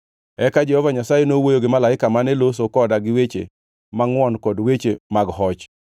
Eka Jehova Nyasaye nowuoyo gi malaika mane loso koda gi weche mangʼwon kod weche mag hoch.